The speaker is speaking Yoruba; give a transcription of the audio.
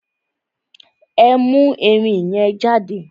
Ẹ mú ẹrin yẹn jáde!